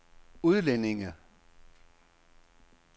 udlændinge